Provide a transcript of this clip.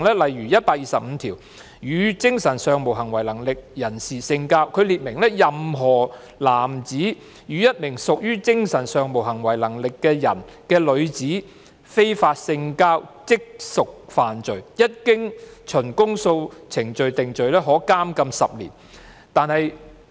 例如，第125條"與精神上無行為能力的人性交"，列明"任何男子與一名屬精神上無行為能力的人的女子非法性交，即屬犯罪，一經循公訴程序定罪，可處監禁10年"。